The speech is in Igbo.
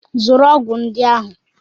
Zụrụ ọgwụ ndị ahụ!